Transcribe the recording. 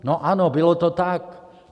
No ano, bylo to tak.